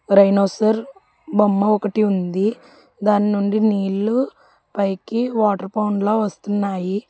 రైనోసర్ బొమ్మ ఒకటి ఉంది దాన్నుండి నీళ్లు పైకి వాటర్ పౌండ్ లా వస్తున్నాయి.